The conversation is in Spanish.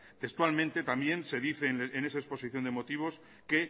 textualmente también se dice en esa exposición de motivos que